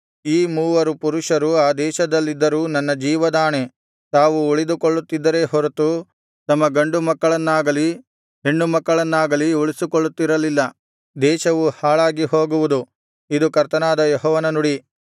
ಈ ಮೂವರು ಪುರುಷರು ಆ ದೇಶದಲ್ಲಿದ್ದರೂ ನನ್ನ ಜೀವದಾಣೆ ತಾವು ಉಳಿದುಕೊಳ್ಳುತ್ತಿದ್ದರೇ ಹೊರತು ತಮ್ಮ ಗಂಡು ಮಕ್ಕಳನ್ನಾಗಲಿ ಹೆಣ್ಣು ಮಕ್ಕಳನ್ನಾಗಲಿ ಉಳಿಸಿಕೊಳ್ಳುತ್ತಿರಲಿಲ್ಲ ದೇಶವು ಹಾಳಾಗಿ ಹೋಗುವುದು ಇದು ಕರ್ತನಾದ ಯೆಹೋವನ ನುಡಿ